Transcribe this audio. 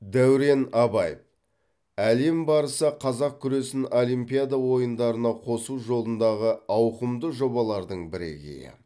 дәурен абаев әлем барысы қазақ күресін олимпиада ойындарына қосу жолындағы ауқымды жобалардың бірегейі